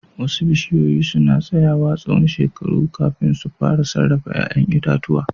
Wasu bishiyoyi suna tsayawa tsawon shekaru kafin su fara sarrafa 'ya'yan itatuwa.